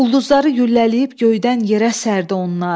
Ulduzları güllələyib göydən yerə sərdi onlar.